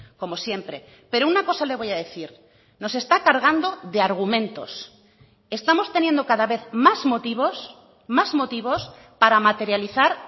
como siempre pero una cosa le voy a decir nos está cargando de argumentos estamos teniendo cada vez más motivos más motivos para materializar